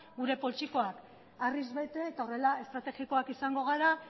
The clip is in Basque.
gure poltsikoa harriz bete eta horrela estrategikoak izango gara